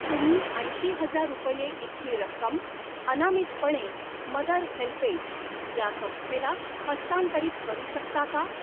तुम्ही ऐंशी हजार रुपये इतकी रक्कम अनामितपणे मदर हेल्पेज ह्या संस्थेला हस्तांतरित करू शकता का?